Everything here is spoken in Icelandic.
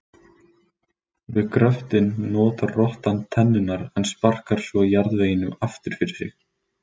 Við gröftinn notar rottan tennurnar en sparkar svo jarðveginum aftur fyrir sig.